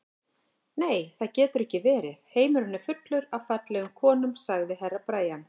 Nei, það getur ekki verið, heimurinn er fullur af fallegum konum, sagði Herra Brian.